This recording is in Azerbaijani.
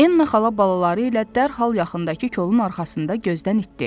Enna xala balaları ilə dərhal yaxındakı kolun arxasında gözdən itdi.